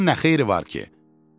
Bunun nə xeyri var ki?